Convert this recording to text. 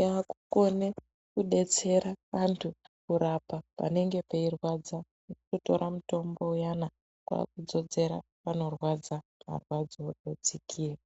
yakukone kudetsera antu kurapa panenge peirwadza wotora mutombo uyana kwakudzodzera panorwadza marwadzo odzikira